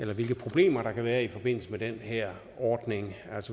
hvilke problemer der kan være i forbindelse med den her ordning